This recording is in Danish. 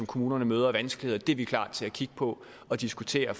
kommunerne møder af vanskeligheder er vi klar til at kigge på og diskutere